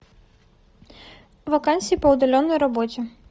вакансии по удаленной работе